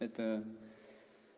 это